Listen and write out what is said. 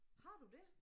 Har du det?